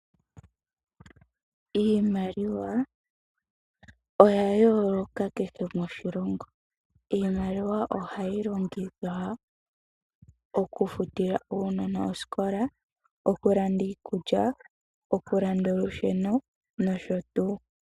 Iimaliwa oya yooloka kehe moshilongo. Iimaliwa ohayi longithwa oku futila uunona osikola, oku landa iikulya, oku landa olusheno nosho tuu.